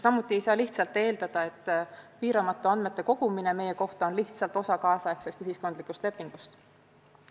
Samuti ei saa eeldada, et piiramatu andmete kogumine meie kohta on lihtsalt osa kaasaegsest ühiskondlikust lepingust.